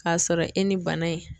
K'a sɔrɔ e ni bana in